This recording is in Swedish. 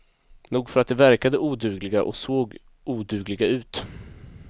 Nog för att de verkade odugliga och såg odugliga ut.